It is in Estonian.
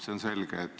See on selge.